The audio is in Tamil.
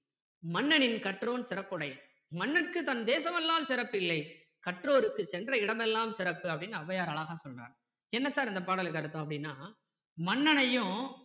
மன்னனின் கற்றோன் சிறப்புடையன் மன்னனுக்கு தன்தேசம் அல்லால் சிறப்பில்லை கற்றோர்க்கு சென்ற இடம் எல்லாம் சிறப்பு அப்படின்னு ஔவையார் அழகா சொல்றார் என்ன sir இந்த பாடலுக்கு அர்த்தம் அப்படின்னா மன்னனையும்